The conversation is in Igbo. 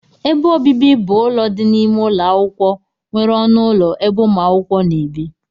Ebe ọbibi bụ ụlọ dị n' ime ụlọakwụkwọ nwere ọnụ ụlọ ebe umuakwukwo na-ebi.